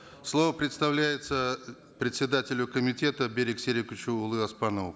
слово предоставляется председателю комитета берик сериковичу оспанову